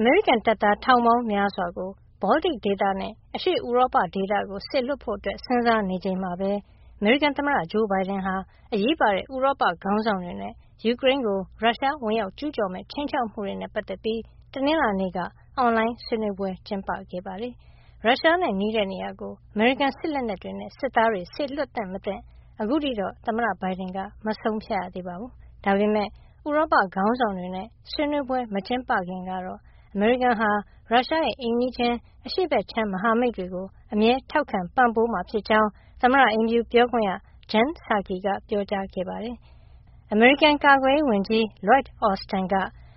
အမေရိကန်တပ်သား ထောင်ပေါင်းများစွာကို ဘောလတစ်ဒေသနဲ့ အရှေ့ဥရောပဒေသကို စေလွှတ်ဖို့ စဉ်းစားနေချိန်မှာပဲ အမေရိကန်သမ္မတဂျိုးဘိုင်ဒန်ဟာ အရေးပါတဲ့ဥရောပခေါင်းဆောင်တွေနဲ့ ယူကရိန်းကို ရုရှားဝင်ရောက်ကျူးကျော်မယ့် ခြိမ်းခြောက်မှုတွေနဲ့ ပတ်သက်ပြီး တနင်္လာနေ့က အွန်လိုင်းဆွေးနွေးပွဲ ကျင်းပခဲ့ပါတယ်။ ရုရှားနဲ့နီးတဲ့နေရာကို အမေရိကန်စစ်လက်နက်တွေနဲ့ စစ်သားတွေစေလွှတ်သင့်မသင့် အခုထိတော့ သမ္မတဘိုင်ဒန်က မဆုံးဖြတ်ရသေးပါဘူး။ ဒါပေမယ့် ဥရောပခေါင်းဆောင်တွေနဲ့ ဆွေးနွေးပွဲမကျင်းပခင်ကတော့ အမေရိကန်ဟာ ရုရှားရဲ့အိမ်နီးချင်း အရှေ့ဘက်ခြမ်းမဟာမိတ်တွေကို အမြဲထောက်ခံပံ့ပိုးမှာ ဖြစ်ကြောင်း သမ္မတအိမ်ဖြူပြောခွင့်ရ Jen Psaki ကပြောကြားခဲ့ပါတယ်။ အမေရိကန်ကာကွယ်ရေးဝန်ကြီး Lloyd Austin က